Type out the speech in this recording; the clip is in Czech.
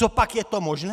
Copak je to možné?